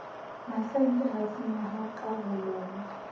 masenkeng ha senyeha ka holong